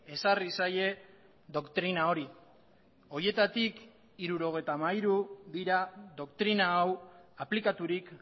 ezarri zaie doktrina hori horietatik hirurogeita hamairu dira doktrina hau aplikaturik